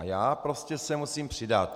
A já prostě se musím přidat.